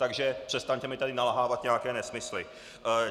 Takže přestaňte mi tady nalhávat nějaké nesmysly.